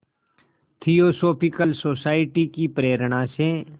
theosophical society की प्रेरणा से